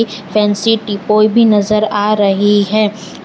Fancy भी नजर आ रही है।